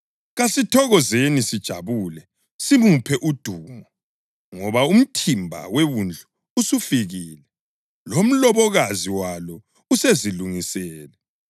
Kasithokozeni sijabule simuphe udumo. Ngoba umthimba weWundlu usufikile, lomlobokazi walo usezilungisele.